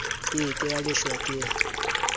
ke ke ya leshwa ke